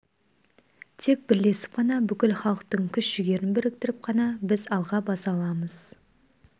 тек бірлесіп қана бүкіл халықтың күш-жігерін біріктіріп қана біз алға баса аламыз